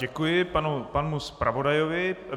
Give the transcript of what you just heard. Děkuji panu zpravodajovi.